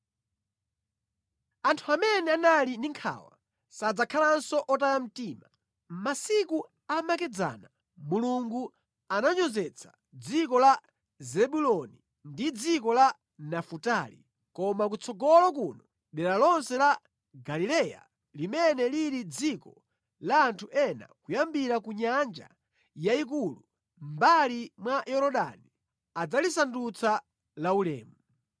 Anthu amene anali ndi nkhawa, sadzakhalanso otaya mtima. Masiku amakedzana Mulungu ananyozetsa dziko la Zebuloni ndi dziko la Nafutali, koma kutsogolo kuno dera lonse la Galileya, limene lili dziko la anthu a mitundu ina, kuyambira ku nyanja yayikulu, mʼmbali mwa Yorodani, adzalisandutsa laulemu.